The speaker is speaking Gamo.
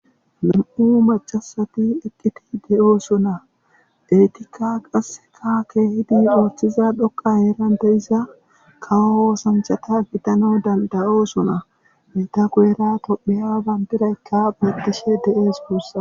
nam7u macasati eqqidiide7oosuna eetikka qasseka keehidi ooththiza dhoqa heeran deyiza kawo oosanchata gidano dandayo suna meta goeera topheya bandiraykka beettishe de7ees buussa